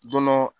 Dɔn